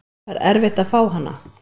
Var erfitt að fá hana?